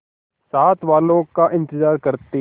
साथ वालों का इंतजार करते